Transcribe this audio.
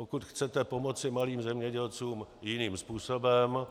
Pokud chcete pomoci malým zemědělcům jiným způsobem,